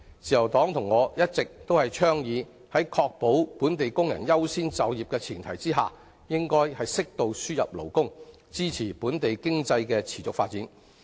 自由黨和我一直倡議，在確保本地工人優先就業的前提下，應適度輸入勞工，以支持本地經濟的持續發展。